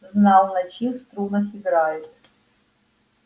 знал на чьих струнах играет